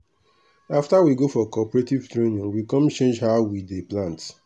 after we go for cooperative training we com change how we dey plant.